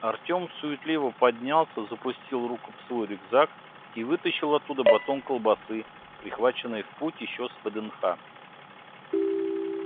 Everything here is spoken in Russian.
артём суетливо поднялся запустил руку в свой рюкзак и вытащил оттуда батон колбасы прихваченный в путь ещё с вднх